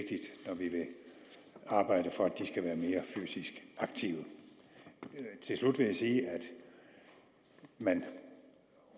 arbejde for at de skal være mere fysisk aktive til slut vil jeg sige at man